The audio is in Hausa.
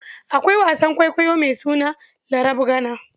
Akwai wasan kwaikwayo mai suna Larabgana.